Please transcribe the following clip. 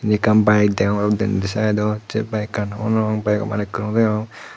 undi ekkan bayek deyong denendi saidot sei bayekuno bayego malikko nodegong.